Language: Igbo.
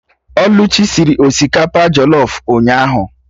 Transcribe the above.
Oluchi sịrị osikapa jọlọf ụnyaahụ